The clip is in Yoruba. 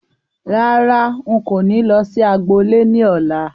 Rárá, n kò ní lọ sí agbo ilé ní ọ̀la